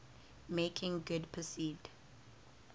make good perceived